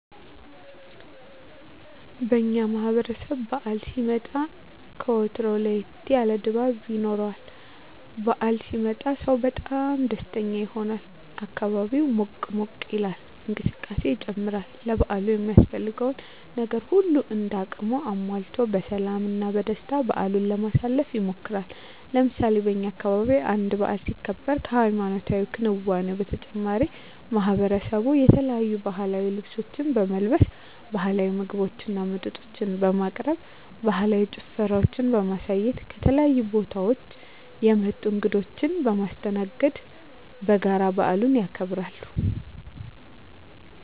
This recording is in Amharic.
በእኛ ማህበረሰብ በዓል ሲመጣ ከወትሮው ለየት ያለ ድባብ ይኖረዋል። በዓል ሲመጣ ሰው በጣም ደስተኛ ይሆናል፣ አካባቢው ሞቅ ሞቅ ይላል፣ እንቅስቃሴ ይጨምራል፣ ለበዓሉ የሚያስፈልገውን ነገር ሁሉም እንደ አቅሙ አሟልቶ በሰላም እና በደስታ በዓሉን ለማሳለፍ ይሞክራል። ለምሳሌ በእኛ አካባቢ አንድ በዓል ሲከበር ከሀይማኖታዊ ክንዋኔው በተጨማሪ ማሕበረሰቡ የተለያዩ ባህላዊ ልብሶችን በመልበስ፣ ባህላዊ ምግቦችና መጠጦችን በማቅረብ፣ ባህላዊ ጭፈራዎችን በማሳየት፣ ከተለያዩ ቦታወች የመጡ እንግዶችን በማስተናገድ በጋራ በዓሉን ያከብራሉ።